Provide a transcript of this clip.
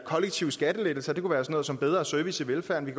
kollektive skattelettelser det kunne være sådan noget som bedre service i velfærden vi